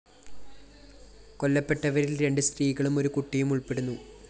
കൊല്ലപ്പെട്ടവരില്‍ രണ്ട് സ്ത്രീകളും ഒരു കുട്ടിയും ഉള്‍പ്പെടുന്നു